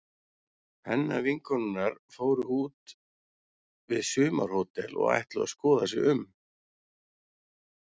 Pennavinkonurnar fóru út við sumarhótel og ætluðu að skoða sig um.